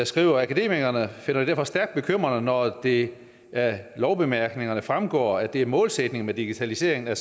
skriver akademikerne finder det derfor stærkt bekymrende når det af lovbemærkningerne fremgår at det er målsætningen med digitaliseringen at